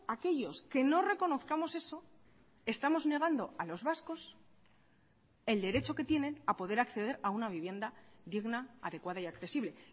aquellos que no reconozcamos eso estamos negando a los vascos el derecho que tienen a poder acceder a una vivienda digna adecuada y accesible